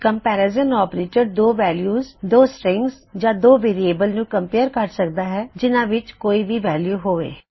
comparison operators 2 values 2 strings ਜਾਂ 2 variables ਨੂੰ compare ਕਰ ਸਕਦਾ ਹੈ ਜਿਨ੍ਹਾ ਵਿੱਚ ਕੋਈ ਵੀ ਵੈਲਯੂ ਹੋਵੇ